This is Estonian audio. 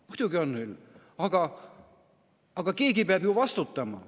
Muidugi on, aga keegi peab vastutama.